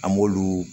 An b'olu